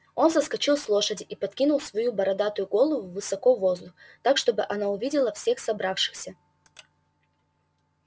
он соскочил с лошади и подкинул свою бородатую голову высоко в воздух так чтобы она увидела всех собравшихся